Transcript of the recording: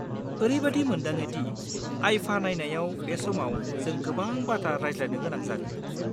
ओरैबादि मोनदाङो दि IIFA नायनायाव बे समाव जों गोबां बाथ्रा रायज्लायनो गोनां जागोन।